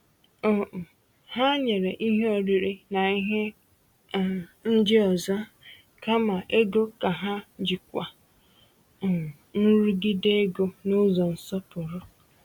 um Ha nyere ihe oriri na ihe um ndị ọzọ kama ego ka ha jikwaa um nrụgide ego n’ụzọ nsọpụrụ.